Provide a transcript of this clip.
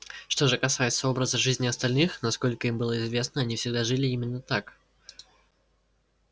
что же касается образа жизни остальных насколько им было известно они всегда жили именно так